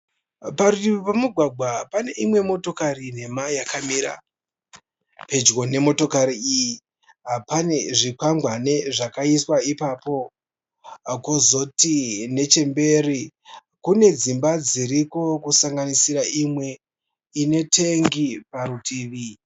Parutivi pemugwagwa pane imwe motokari nhema yakamira. Pedyo nemotokari iyi pane zvikwangwani zvakaiswa ipapo. Kwozoti nechemberi kune dzimba dziriko kusanganisira imwe ine tengi parutivi